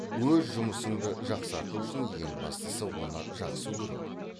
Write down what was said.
өз жұмысыңды жақсарту үшін ең бастысы оны жақсы көру